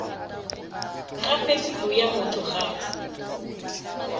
gape pelo ya motho ga